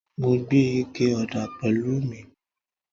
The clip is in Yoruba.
Mo gbé ike ọ̀dà pẹ̀lú mi